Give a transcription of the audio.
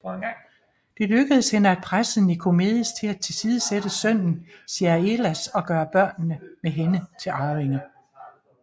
Det lykkedes hende at presse Nikomedes til at tilsidesætte sønnen Ziaelas og gøre børnene med hende til arvinger